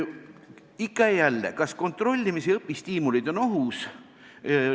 Ikka ja jälle, kas kontrollimis- ja õpistiimulid on ohus?